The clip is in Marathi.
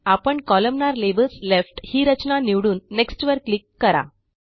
आपण कोलमनार लेबल्स लेफ्ट ही रचना निवडून नेक्स्ट वर क्लिक करा